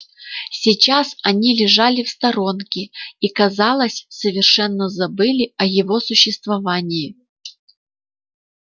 сейчас они лежали в сторонке и казалось совершенно забыли о его существовании